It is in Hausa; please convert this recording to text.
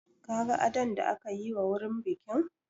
Ka ga adon da aka yi wa wurin bikin?